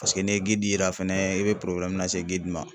Paseke n'i ye yira fɛnɛ i bɛ lase ma.